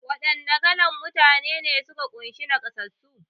Wa ɗanna kalan Mutane ne suka kunshi naƙasassu?